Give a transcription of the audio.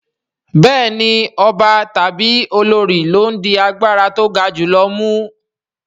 Bẹ́ẹ̀ni ọba tàbí olorì ló ń di agbára tó ga jù lọ mú